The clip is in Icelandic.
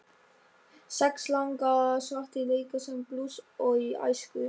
Sex langafar svartir leika sama blús og í æsku.